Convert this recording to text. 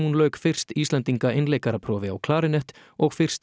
lauk fyrst Íslendinga einleikaraprófi á klarinett og fyrst